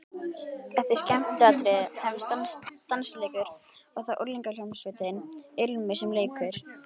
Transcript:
Eftir skemmtiatriðin hefst dansleikur og það er unglingahljómsveitin Ilmur sem leikur.